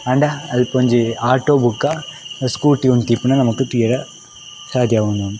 ಆಂದ ಅಲ್ಪೊಂಜಿ ಆಟೋ ಬೊಕ ಸ್ಕೂಟಿ ಉಂತಿಪ್ಪುನ ನಮಕ್ ತೂವರೆ ಸಾದ್ಯ ಆವೊಂದುಂಡು.